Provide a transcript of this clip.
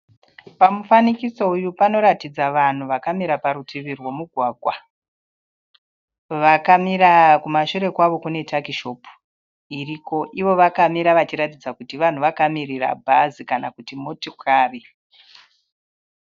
Pamufanikiso uyu panoratidza vanhu vakamira parutivi rwomugwagwa. Vakamira kumashure kwavo kune takishopu iriko. Ivo vakamira vachiratidza kuti vanhu vakamirira bhazi kana kuti motikari.